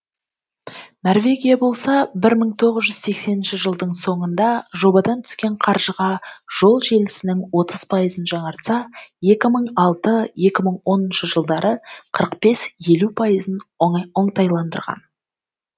норвегия болса бір мың тоғыз жүз сексенінші жылдың соңында жобадан түскен қаржыға жол желісінің отыз пайызын жаңартса екі мың алты екі мың оныншы жылдары қырық бес елу пайызын оңтайландырған